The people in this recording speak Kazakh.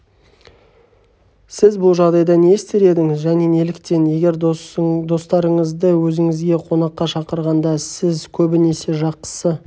сіз бұл жағдайда не істер едіңіз және неліктен егер достарыңызды өзіңізге қонаққа шақырғанда сіз көбінесе жақсы